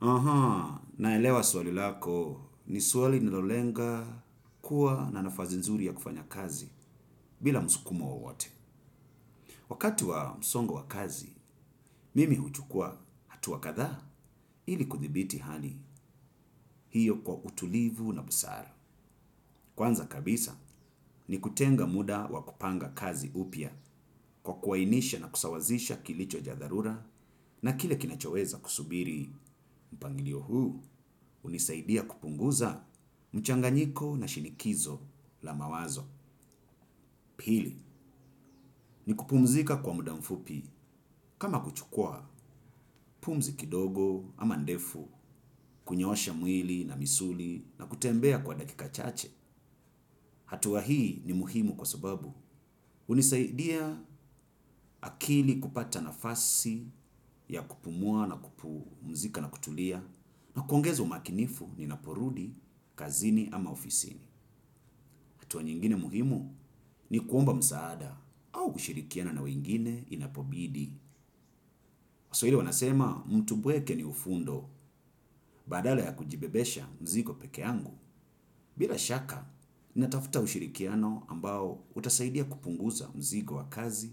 Aha, naelewa swali lako ni swali nilolenga kuwa na nafasi nzuri ya kufanya kazi bila musukumo wowote. Wakati wa msongo wa kazi, mimi huchukua hatu wakadha ili kudhibiti hali hiyo kwa utulivu na busara. Kwanza kabisa ni kutenga muda wa kupanga kazi upya kwa kuainisha na kusawazisha kilicho chadharura na kile kinachoweza kusubiri mpangilio huu. Hunisaidia kupunguza mchanganyiko na shinikizo la mawazo. Pili, ni kupumzika kwa muda mfupi kama kuchukua pumzi kidogo ama ndefu, kunyoosha mwili na misuli na kutembea kwa dakika chache. Hatua hii ni muhimu kwa sababu. Hunisaidia akili kupata nafasi ya kupumua na kupumzika na kutulia na kuongeza umakinifu ninapo rudi, kazini ama ofisini. Atua nyingine muhimu ni kuomba msaada au kushirikiana na wengine inapobidi. Waswahili wanasema mtu mpweke ni ufundo badala ya kujibebesha mzigo peke yangu. Bila shaka, natafuta ushirikiano ambao utasaidia kupunguza mzigo wa kazi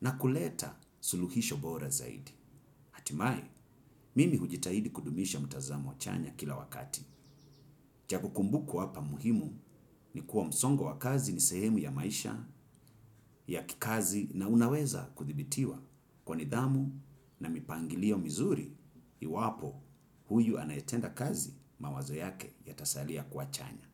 na kuleta suluhisho bora zaidi. Hatimaye, mimi hujitahidi kudumisha mtazamo chanya kila wakati. Cha kukumbukwa hapa muhimu ni kuwa msongo wa kazi ni sehemu ya maisha ya kikazi na unaweza kudhibitiwa kwa nidhamu na mipangilio mizuri iwapo huyu anayetenda kazi mawazo yake yatasalia kuwa chanya.